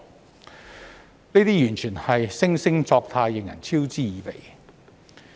這種態度完全是惺惺作態，令人嗤之以鼻。